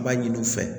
I b'a ɲini u fɛ